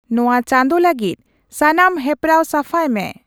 ᱱᱚᱶᱟ ᱪᱟᱸᱫᱚ ᱞᱟᱹᱜᱤᱫ ᱥᱟᱱᱟᱢ ᱦᱮᱯᱨᱟᱣ ᱥᱟᱯᱷᱟᱭ ᱢᱮ ᱾